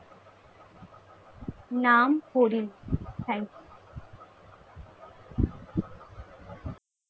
নাম হরি